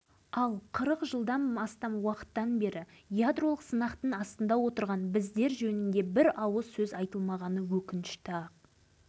үкіметіміз мұны білмейді емес біледі бірақ білмеген сыңай танытады чернобыльде бар-жоғы төрт-ақ сағатқа созылған апатты дүниежүзіне